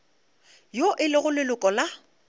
yo e lego leloko la